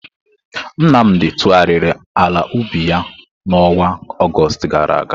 Nnamdi tụgharịrị ala ubi ya n'ọnwa Ọgọst gara aga.